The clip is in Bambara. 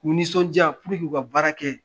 K'u nisɔn diya puruke u ka baara kɛ